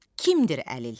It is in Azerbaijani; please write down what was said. Kimdir əlil?